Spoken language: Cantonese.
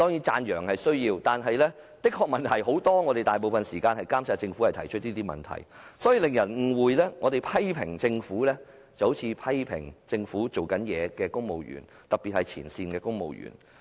讚揚固然必需，但政府問題的確很多，我們花大部分時間指出這些問題旨在監察政府，卻難免令人產生錯覺，以為我們除了批評政府，也批評為政府做事的公務員，特別是前線公務員。